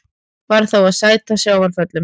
Varð þá að sæta sjávarföllum.